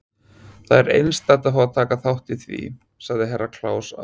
Það er einstakt að fá að taka þátt í því, sagði Herra Kláus ábúðarfullur.